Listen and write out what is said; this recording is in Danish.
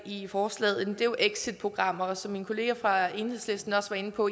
i forslaget exitprogrammer og som min kollega fra enhedslisten også var inde på